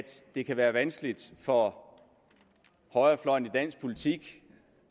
det kan være vanskeligt for højrefløjen i dansk politik